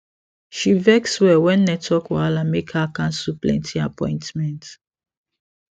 she vex well when network wahala make her cancel plenty appointment